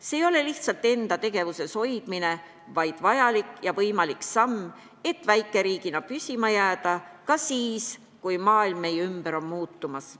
See ei ole lihtsalt enda tegevuses hoidmine, vaid vajalik ja võimalik samm, et väikeriigina püsima jääda ka siis, kui maailm meie ümber on muutumas.